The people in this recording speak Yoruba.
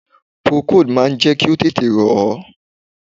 Procold máa jẹ́ kí o tẹ̀tẹ̀ rọ̀ ẹ́.